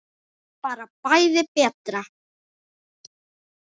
Bara bæði betra.